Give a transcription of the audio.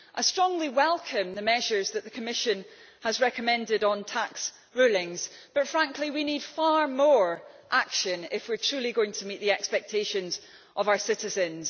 I strongly welcome the measures that the Commission has recommended on tax rulings, but, frankly, we need far more action if we are truly going to meet the expectations of our citizens.